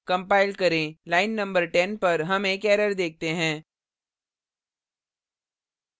compile करें line नं 10 पर हम एक error देखते हैं